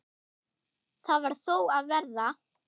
Það varð þó að verða.